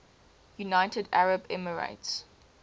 united arab emirates